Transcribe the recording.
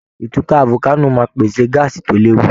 Ìtúká volcano máa pèsè gáásì tó léwu.